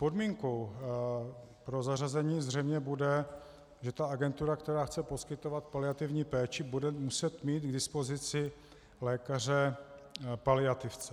Podmínkou pro zařazení zřejmě bude, že ta agentura, která chce poskytovat paliativní péči, bude muset mít k dispozici lékaře paliativce.